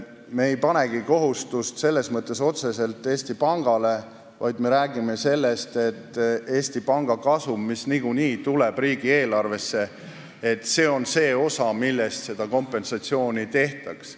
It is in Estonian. Me ei panegi kohustust otseselt Eesti Pangale, vaid me räägime sellest, et Eesti Panga kasum, mis niikuinii tuleb riigieelarvesse, on see allikas, millest kompensatsioon makstaks.